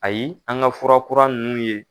Ayi an ga fura kura nunnu ye